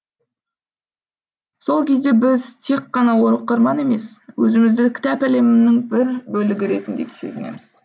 сол кезде біз тек қана оқырман емес өзімізді кітап әлемінің бір бөлігі ретінде сезінеміз